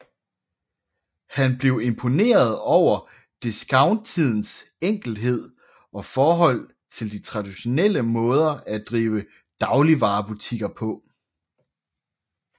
Han blev imponeret over discountideens enkelhed og forhold til de traditionelle måder at drive dagligvarebutikker på